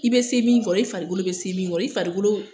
I be se min kɔrɔ i farikolo be se min kɔrɔ i farikolo